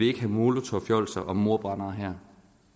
ikke ha’ molotovfjolser og mordbrændere her